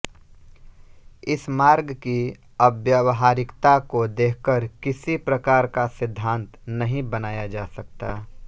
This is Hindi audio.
इस मार्ग की अव्यावहारिकता को देखकर किसी प्रकार का सिद्धान्त नहीं बनाया जा सकता